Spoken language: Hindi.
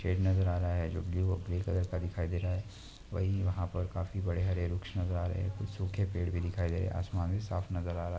शेड नज़र आ रहा है जो ब्लु और ग्रे कलर का दिखाई दे रहा है वही वह पर काफी बड़े हरे वृक्ष नज़र आ रहे कुछ सूखे पेड़ भी दिखाई दे रहे आसमान भी साफ नज़र आ रहा।